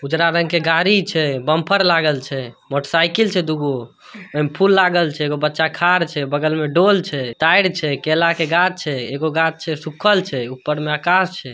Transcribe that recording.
उजरा रंग के गाडी छे। बम्पर लागल छे। मोटरसाईकल छे दुगो। एने फूल लागल छे। एगो बच्चा खा रह छे। बगल में डोल छे टायर छे केला के गाछ छे। एगो गाछ छे सुखल छे। ऊपर में आकश छे |